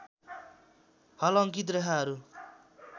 हल अङ्कित रेखाहरू